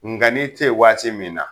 Nga n'i te yen waati min na